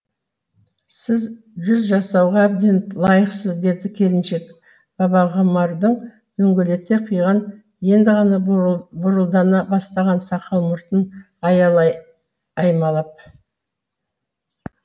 сіз жүз жасауға әбден лайықсыз деді келіншек бабағұмардың дөңгелете қиған енді ғана бурылдана бастаған сақал мұртын аялай аймалап